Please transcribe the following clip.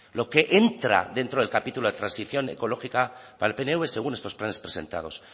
lo que entra dentro del capítulo de transición ecológica para el pnv según estos planes presentados